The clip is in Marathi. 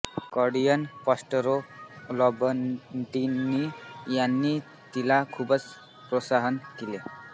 कार्डिनल प्रॉस्परो लँबर्टिनी ह्यांनी तिला खूप प्रोत्साहित केले